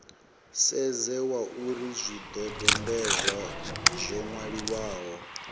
sedze zwauri zwidodombedzwa zwo nwaliwaho